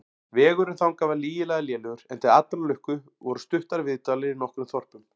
Vegurinn þangað var lygilega lélegur, en til allrar lukku voru stuttar viðdvalir í nokkrum þorpum.